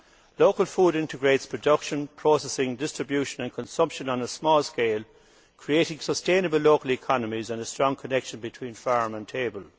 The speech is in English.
Local food integrates production, processing, distribution and consumption on a small scale, creating sustainable local economies and a strong connection between farm and table.